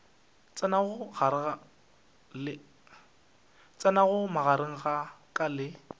tsenago magareng a ka le